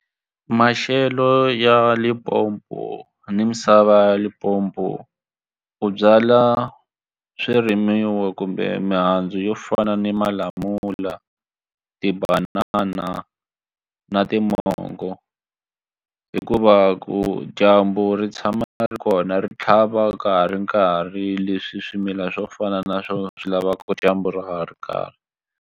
Maxelo ya Limpopo ni misava ya Limpopo u byala swirimiwa kumbe mihandzu yo fana ni malamula tibanana na na timongo hikuva ku dyambu ri tshama ri kona ri tlhava ka ha ri nkarhi leswi swimilana swo fana na swo swilavaka dyambu ka ha ri karhi.